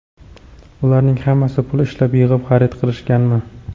Ularning hammasi pul ishlab, yig‘ib, xarid qilishganmi?